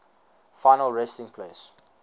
final resting place